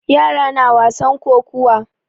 Yara na wasan kokuwa.